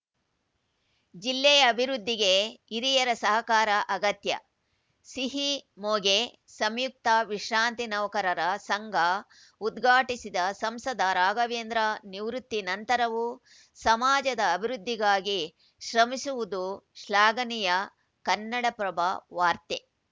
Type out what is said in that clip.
ಜಿಲ್ಲೆಯ ಅಭಿವೃದ್ಧಿಗೆ ಹಿರಿಯರ ಸಹಕಾರ ಅಗತ್ಯ ಸಿಹಿಮೊಗೆ ಸಂಯುಕ್ತ ವಿಶ್ರಾಂತಿ ನೌಕರರ ಸಂಘ ಉದ್ಘಾಟಿಸಿದ ಸಂಸದ ರಾಘವೇಂದ್ರ ನಿವೃತ್ತಿ ನಂತರವೂ ಸಮಾಜದ ಅಭಿವೃದ್ಧಿಗಾಗಿ ಶ್ರಮಿಸುವುದು ಶ್ಲಾಘನೀಯ ಕನ್ನಡಪ್ರಭ ವಾರ್ತೆ